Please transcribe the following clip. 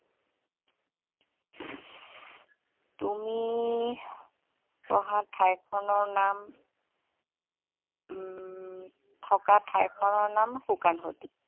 তুমি পঢ়া ঠাই খনৰ নাম উম থকা ঠাই খনৰ নাম